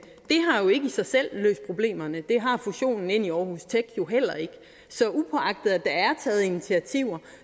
i sig selv løst problemerne og det har fusionen ind i aarhus tech heller ikke så uagtet at der er taget initiativer